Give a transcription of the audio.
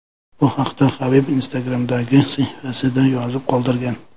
Bu haqda Habib Instagram’dagi sahifasida yozib qoldirgan .